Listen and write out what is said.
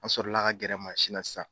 An sɔrɔla ka gɛrɛ mansi na sisan.